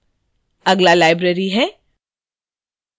अगला library है